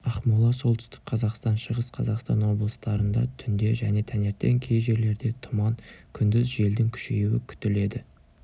ақмола солтүстік қазақстан шығыс қазақстан облыстарында түнде және таңертең кей жерлерде тұман күндіз желдің күшеюі күтіледі